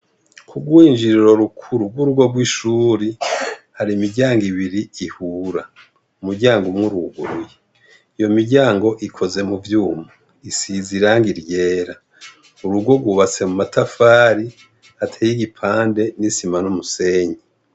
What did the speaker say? Ku rwinjiriro rukuru rw'urugo rw'ishuri, hari imiryango ibiri ihura. umuryango umwe uruguruye. Iyo miryango ikoze mu vyuma. Isize irangi ryera. Urugo rwubatse mumatafari ateye igipande n'isima n'umusenyi.